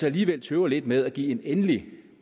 alligevel tøver lidt med at give en endelig